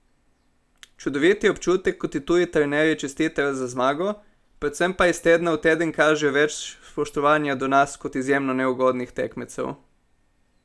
Čudovit je občutek, ko ti tuji trenerji čestitajo za zmago, predvsem pa iz tedna v teden kažejo več spoštovanja do nas kot izjemno neugodnih tekmecev.